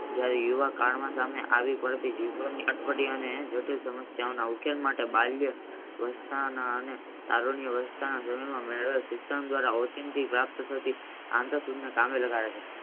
ગઈ એવા કાળ માંથી અમને આવી પડતી વિશ્વની અટપટી અને ગટન સમસ્યાના ઉકેલ માટે બાહ્ય શિક્ષણ દ્વારા આંતરસિત ને કામે લગાડે છે.